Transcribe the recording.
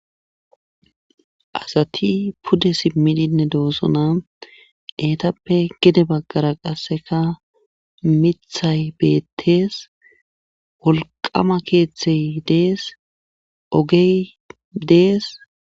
asati pude simmidinne doosona eetappe gede baggara qasseka mithay beettees wolqama keeththey dees ogey dees